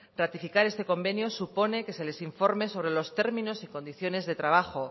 ratificar este convenio supone que se les informe sobre los términos y condiciones de trabajo